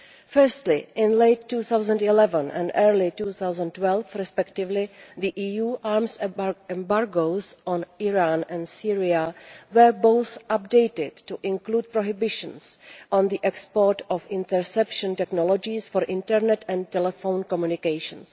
Firstly, in late 2011 and early 2012 respectively, the EU arms embargoes on Iran and Syria were both updated to include prohibitions on the export of interception technologies for internet and telephone communications.